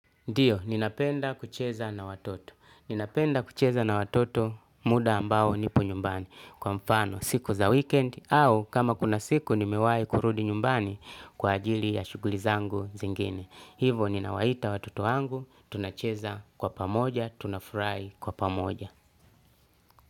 Ndiyo ninapenda kucheza na watoto. Ninapenda kucheza na watoto muda ambao nipo nyumbani. Kwa mfano siku za weekend au kama kuna siku nimewahi kurudi nyumbani kwa ajili ya shughuli zangu zingine. Hivo ninawaita watoto wangu tunacheza kwa pamoja, tunafurahi kwa pamoja.